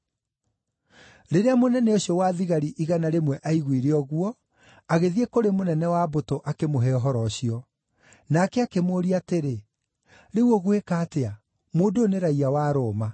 Rĩrĩa mũnene ũcio wa thigari igana rĩmwe aaiguire ũguo, agĩthiĩ kũrĩ mũnene wa mbũtũ, akĩmũhe ũhoro ũcio. Nake akĩmũũria atĩrĩ, “Rĩu ũgwĩka atĩa? Mũndũ ũyũ nĩ raiya wa Roma.”